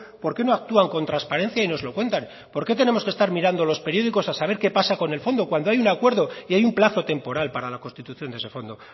por qué no actúan con transparencia y nos lo cuentan por qué tenemos que estar mirando los periódicos a saber qué pasa con el fondo cuando hay un acuerdo y hay un plazo temporal para la constitución de ese fondo